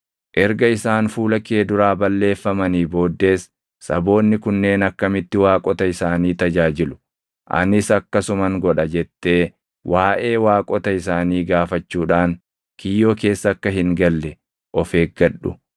erga isaan fuula kee duraa balleeffamanii booddees, “Saboonni kunneen akkamitti waaqota isaanii tajaajilu? Anis akkasuman godha” jettee waaʼee waaqota isaanii gaafachuudhaan kiyyoo keessa akka hin galle of eeggadhu.